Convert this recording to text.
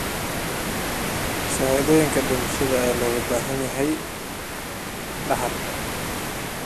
Shahaadooyinka dhimashada ayaa looga baahan yahay dhaxalka.